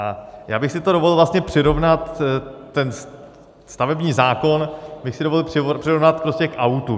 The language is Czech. A já bych si to dovolil vlastně přirovnat, ten stavební zákon bych si dovolil přirovnat prostě k autu.